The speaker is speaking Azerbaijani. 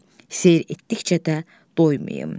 Seyr etdikcə də doymayım.